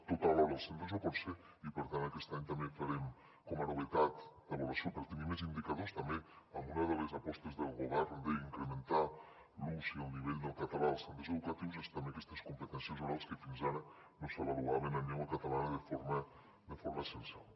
tot alhora als centres no pot ser i per tant aquest any també farem com a novetat d’avaluació per tenir més indicadors també una de les apostes del govern d’incrementar l’ús i el nivell del català als centres educatius aquestes competències orals que fins ara no s’avaluaven en llengua catalana de forma censal